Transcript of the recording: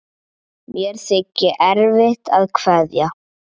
Mér þykir erfitt að kveðja.